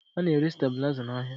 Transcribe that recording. A na-ere stabuliza n'ahịa